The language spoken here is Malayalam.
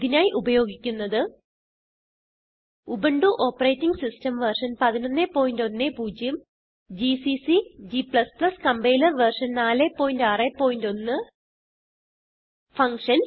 ഇതിനായി ഉപയോഗിക്കുന്നത് Ubuntu operating system version 1110 GCC g compiler version 461